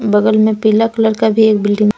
बगल में पीला कलर का भी एक बिल्डिंग --